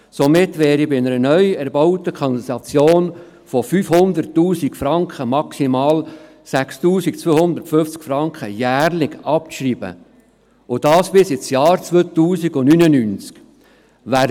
Somit wären bei einer neu erbauten Kanalisation von 500 000 Franken maximal 6 250 Franken jährlich abzuschreiben und dies bis ins Jahr 2099.